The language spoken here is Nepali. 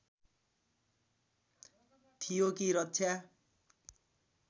थियो कि रक्षा